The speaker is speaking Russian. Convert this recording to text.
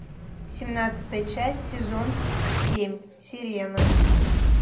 семнадцатая часть сезон семь сирена